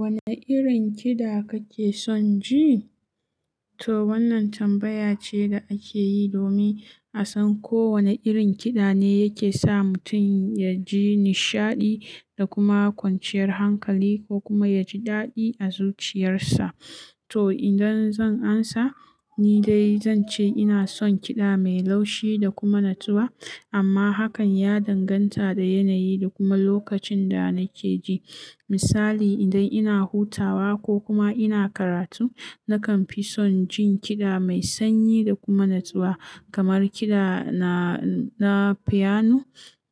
Wane irin kiɗa kake son ji? To wannan tambaya ce da ake yi domin a san ko wane irin kiɗa ne yake sa mutum ya ji nishaɗi da kuma kwanciyar hankali ko kuma ya ji daɗi a zuciyarsa. To idan zan amsa, ni dai zan ce ina son kiɗa mai laushi da kuma natsuwa amma hakan ya danganta da yanayi da kuma lokacin da nake ji. Misali, idan ina hutawa ko kuma ina karatu, nakan fi son jin kiɗa mai sanyi da kuma natsuwa kamar kiɗa na, na fiyanu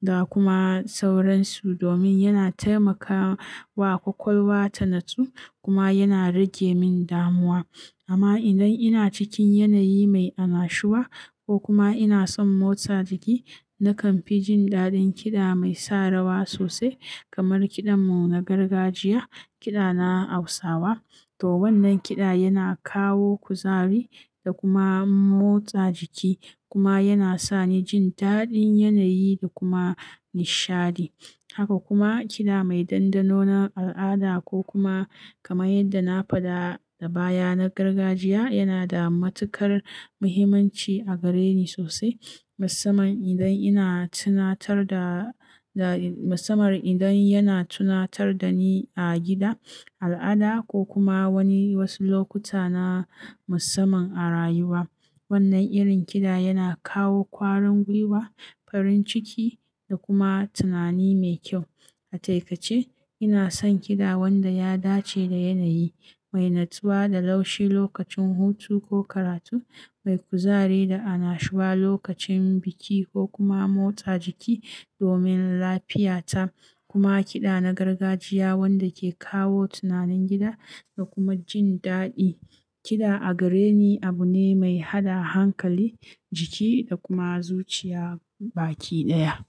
da kuma sauransu domin yana taimakawa ƙwaƙwalwa ta natsu kuma yana rage min damuwa. Amma idan ina cikin yanayi mai annashuwa ko kuma ina son motsa jiki, nakan fi jin daɗin kiɗa mai sa rawa sosai kamar kiɗan mu na gargajiya, kiɗa na Hausawa. To wannan kiɗa yana kawo kuzari da kuma motsa jiki kuma yana sani jin daɗin yanayi da kuma nishaɗi. Haka kuma kiɗa mai dandano na al'ada ko kuma kamar yadda na faɗa da baya na gargajiya yana da matuƙar muhimmanci a gare ni sosai. Musamman idan ina tunatar da, da musamman idan yana tunatar da ni a gida, al'ada ko kuma wani wasu lokuta na musamman a rayuwa. Wannan irin kiɗa yana kawo ƙwarin gwiwa, farin ciki da kuma tunani mai kyau. A taikace ina son kiɗa wanda ya dace da yanayi, mai natsuwa da laushi lokacin hutu ko karatu, mai kuzari da annashuwa lokacin biki ko kuma motsa jiki domin lafiyata. Kuma kiɗa na gargajiya wanda ke kawo tunanin gida da kuma jin daɗi. Kiɗa a gare ni abu ne mai haɗa hankali, jiki da kuma zuciya baki ɗaya.